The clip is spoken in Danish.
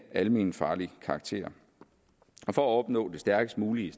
almenfarlig karakter for at opnå det stærkest mulige